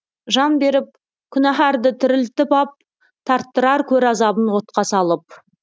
жан беріп күнәһәрді тірілтіп ап тарттырар көр азабын отқа салып